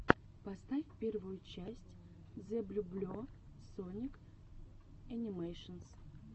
поставь первую часть зэблюбле соник энимэйшенс